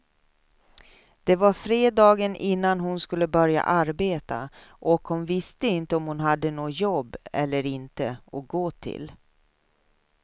Det var fredagen innan hon skulle börja arbeta och hon visste inte om hon hade något jobb eller inte att gå till.